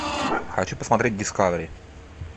хочу посмотреть дискавери